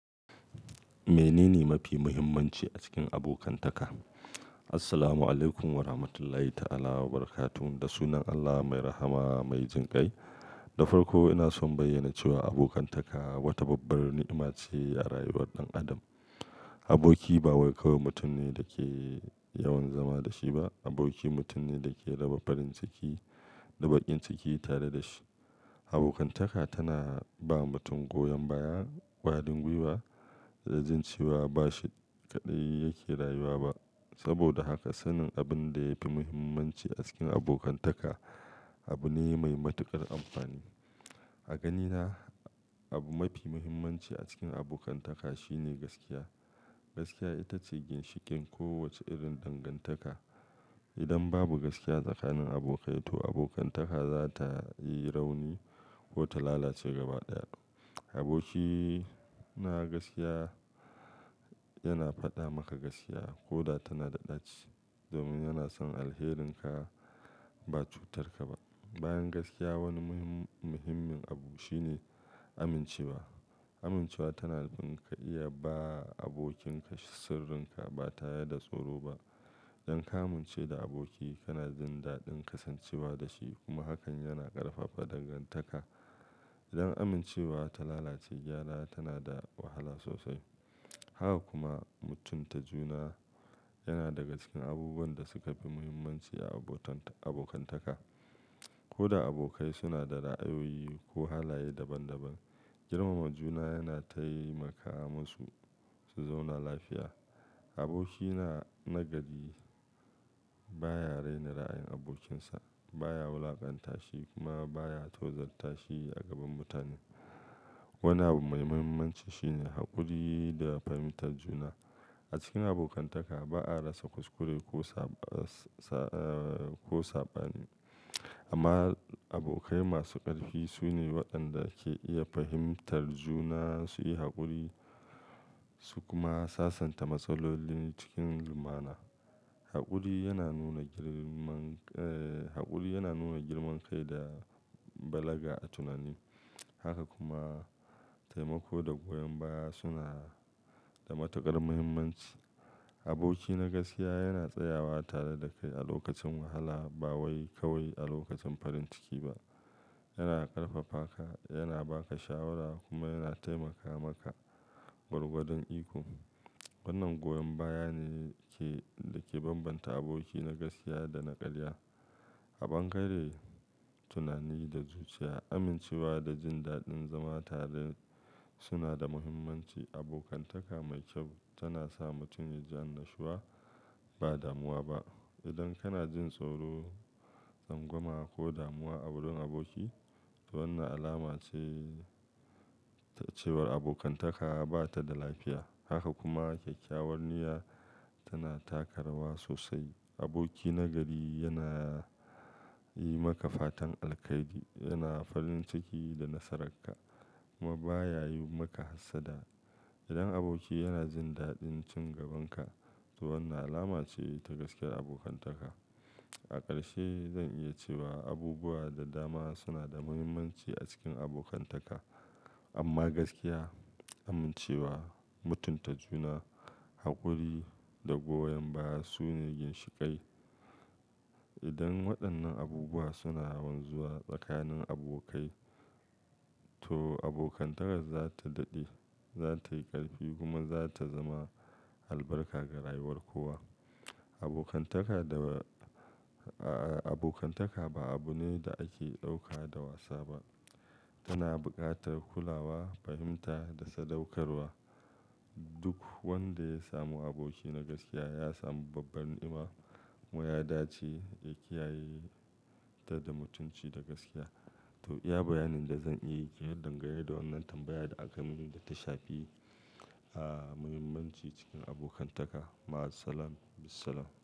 Mene ne mafi mahimmanci a cikin abokantaka? Assalamu alaykum wa rahmatullahi ta'ala wa barakatu. Da sunan Allah mai rahama mai jin ƙai. Da farko ina so in bayyana cewa abokantaka wata babbar ni'ima ce a rayuwar ɗan Adam, Aboki ba wai kawai mutum ne da ke yawan zama da shi ba, Aboki mutum ne da ke raba farin ciki, da baƙin ciki tare da shi. Abokantaka tana ba mutum goyon baya, ƙwarin gwiwa, da jin cewa ba shi kaɗai yake rayuwa ba. Saboda haka, sanin abin da yafi mahimmanci a cikin abokantaka abu ne mai matuƙar amfani. A ganina abu mafi mahimmanci a cikin abokantaka shine gaskiya. Gaskiya ita ce ginshiƙin kowace irin dangantaka. Idan babu gaskiya tsakanin abokai to abokantaka za ta yi rauni ko ta lalace gaba ɗaya. Aboki na gaskiya, yana faɗa maka gaskiya, koda tana da ɗaci, domin yana son alherinka ba cutar ka ba. Bayan gaskiya wani muhi-muhimmin abu shine amincewa. Amincewa tana bin ka iya ba abokinka sirrinka ba tare da tsoro ba. Idan ka amince da aboki, kana jin daɗin kasancewa da shi, kuma hakan yana ƙarfafa dangantaka. Idan amincewa ta lalace, gyara tana da wahala sosai. Haka kuma, mutunta juna, yana daga cikin abubuwan da suka fi muhimmanci a abotan-- abokantaka. Koda abokai suna da ra'ayoyi ko halaye daban daban, girmama juna yana taimaka musu su zauna lafiya, Aboki na, nagari baya raina ra'ayin abokinsa, baya wulaƙanta shi, kuma baya tozar ta shi a gaban mutane. Wani abu mai muhimmanci shine haƙuri da fahimtar juna. A cikin abokantaka ba'a rasa kuskure ko saba, ee, ko saɓani. Amma abokai masu ƙarfi su ne waɗanda ke iya fahimtar juna, su yi haƙuri, su kuma sasanta matsaloli cikin lumana. Haƙuri yana nuna girman, ee, haƙuri yana nuna girman kai da balaga a tunani. Haka kuma taimako da goyon baya suna da matuƙar muhimmanci. Aboki na gaskiya yana tsayawa tare da kai a lokacin wahala, ba wai kawai a lokacin farin ciki ba. Yana ƙarfafa ka, yana ba ka shawara kuma yana taimaka maka gwargwadon iko. Wannan goyon baya ne ke, da ke bambanta aboki na gaskiya da na ƙarya. Aɓangare tunani da zuciya, amincewa da jin daɗin zama tare suna da muhimmanci. Abokantaka mai kyau tana sa mutum ya ji annashuwa, ba damuwa ba. Idan kana jin tsoro, tsangwama ko damuwa awurin aboki, to wannan alama ce cewa abokantaka ba ta da lafiya. Haka kuma ƙyaƙƙyawar niyya, tana taka rawa sosai. Aboki na gari yana yi maka fatan alkhairi, yana farin ciki da nasararka, kuma baya yi maka hassada. Idan aboki yana jin daɗin cin gaban ka, to wannan alama ce ta gaskiyar abokantaka. A ƙarshe, zan iya cewa abubuwa da dama suna da muhimmanci a cikin abokantaka. Amma gaskiya, amincewa, mutunta juna, haƙuri da goyon baya su ne ginshiƙai. Idan waɗannan abubuwa suna wanzuwa tsakanin abokai, to abokantakar za ta daɗe, za ta yi ƙarfi kuma za ta zama albarka ga rayuwar kowa. Abokantaka da, aa abokantaka ba abu ne da ake ɗauka da wasa ba. Tana buƙatar kulawa, fahimta da sadaukarwa. Duk wanda ya samu aboki na gaskiya ya samu babbar ni'ima, kuma ya dace ya kiyaye ta da mutunci da gaskiya. To iya bayanin da zan iya yi kenan, dangane da wannan tambaya da aka yi mini da ta shafi, ah, muhimmanci cikin abokantaka. Ma'asalam, bissalam.